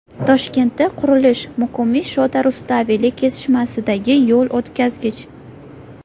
Toshkentda qurilish: Muqimiy Shota Rustaveli kesishmasidagi yo‘l o‘tkazgich.